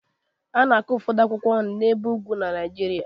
A na-akụ ụfọdụ akwụkwọ nri n'ebe ugwu Nigeria